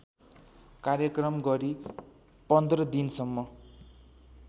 कार्यक्रम गरी १५ दिनसम्म